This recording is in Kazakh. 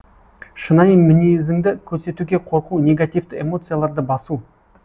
шынайы мінезіңді көрсетуге қорқу негативті эмоцияларды басу